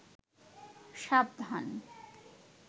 সাবধান